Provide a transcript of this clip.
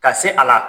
Ka se a la